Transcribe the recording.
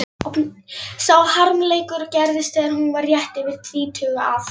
Sá harmleikur gerðist þegar hún var rétt yfir tvítugt að